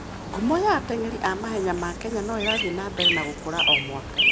Ngumo ya ateng'eri a mahenya ma Kenya no ĩrathiĩ na mbere na gũkũra o mwaka.